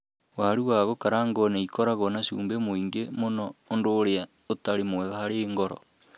Waru wa gũkarangwo nĩ ikoragwo na cumbĩ mũingĩ mũno, ũndũ ũrĩa ũtarĩ mwega harĩ ngoro.